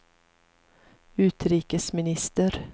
utrikesminister